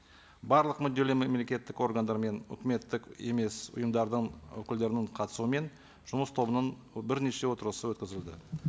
барлық мүдделі мемлекеттік органдар мен үкіметтік емес ұйымдардың өкілдерінің қатысуымен жұмыс тобының бірнеше отырысы өткізілді